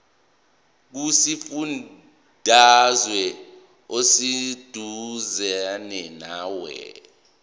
kusifundazwe oseduzane nawe